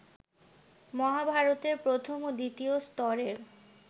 মহাভারতের প্রথম ও দ্বিতীয় স্তরের